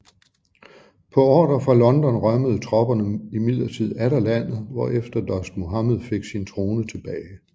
På ordre fra London rømmede tropperne imidlertid atter landet hvor efter Dost Muhammed fik sin trone tilbage